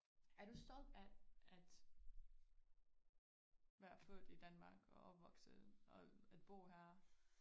Er du stolt af at være født i Danmark og opvokset og at bo her?